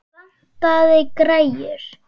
Vantaði græjur?